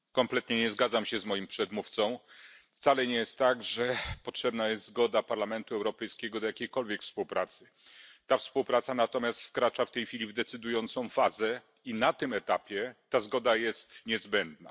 Panie Przewodniczący! Kompletnie nie zgadzam się z moim przedmówcą. Wcale nie jest tak, że potrzebna jest zgoda Parlamentu Europejskiego do jakiejkolwiek współpracy. Współpraca ta natomiast wkracza w tej chwili w decydującą fazę i na tym etapie ta zgoda jest niezbędna.